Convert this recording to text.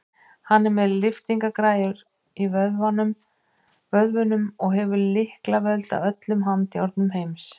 Hann er með lyftingagræjur í vöðvunum og hefur lyklavöld að öllum handjárnum heimsins.